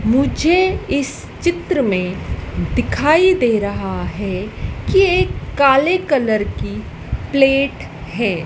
मुझे इस चित्र में दिखाई दे रहा है कि एक काले कलर की प्लेट है।